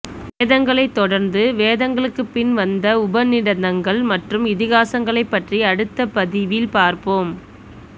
வேதங்களை தொடர்ந்து வேதங்களுக்கு பின் வந்த உபநிடதங்கள் மற்றும் இதிகாசங்களை பற்றி அடுத்த பதிவில் பார்ப்போம்